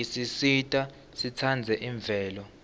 isisita sitsandze imvelo